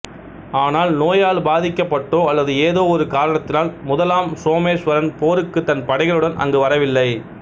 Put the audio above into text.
ஆனால் நோயால் பாதிக்கப்பட்டோ அல்லது ஏதோ ஒரு காரணத்தினால் முதலாம் சோமேசுவரன் போருக்குத் தன் படைகளுடன் அங்கு வரவில்லை